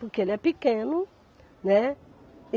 Porque ele é pequeno, né?